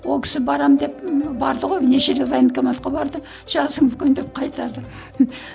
ол кісі барамын деп барды ғой неше рет военкоматқа барды жасың үлкен деп қайтарды